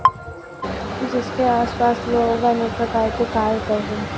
जिसके आस पास लोग अनके प्रकार के कार्य कर रहे है।